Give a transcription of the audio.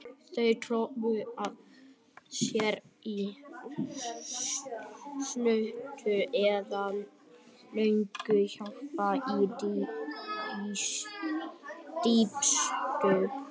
Þau tróðu sér í skúta eða lögðust hjálparvana í dýpstu lautirnar.